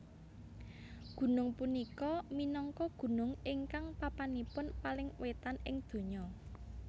Gunung punika minangka gunung ingkang papanipun paling wetan ing donya